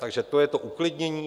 Takže to je to uklidnění.